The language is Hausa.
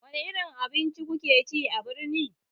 Wani irin abinci kuke ci a birni?